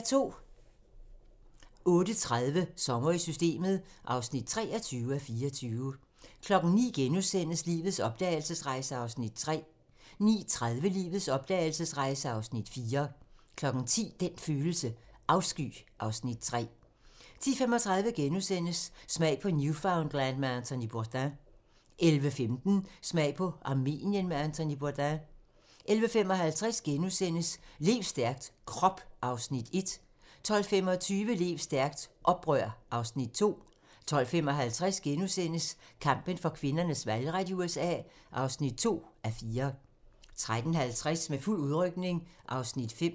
08:30: Sommer i Systemet (23:24) 09:00: Lives opdragelsesrejse (Afs. 3)* 09:30: Lives opdragelsesrejse (Afs. 4) 10:00: Den følelse: Afsky (Afs. 3) 10:35: Smag på Newfoundland med Anthony Bourdain * 11:15: Smag på Armenien med Anthony Bourdain 11:55: Lev stærkt - Krop (Afs. 1)* 12:25: Lev stærkt - Oprør (Afs. 2) 12:55: Kampen for kvinders valgret i USA (2:4)* 13:50: Med fuld udrykning (Afs. 5)